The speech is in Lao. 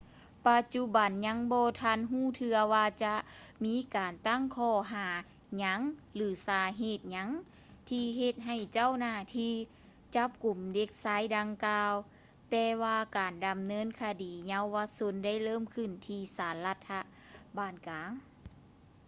ປະຈຸບັນຍັງບໍ່ທັນຮູ້ເທື່ອວ່າຈະມີການຕັ້ງຂໍ້ຫາຫຍັງ ຫຼື ສາເຫດຫຍັງທີ່ເຮັດໃຫ້ເຈົ້າໜ້າທີ່ຈັບກຸມເດັກຊາຍດັ່ງກ່າວ ແຕ່ວ່າການດຳເນີນຄະດີເຍົາວະຊົນໄດ້ເລີ່ມຂຶ້ນທີ່ສານລັດຖະບານກາງ